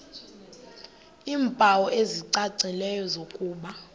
iimpawu ezicacileyo zokuba